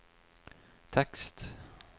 tekst